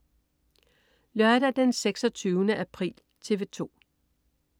Lørdag den 26. april - TV 2: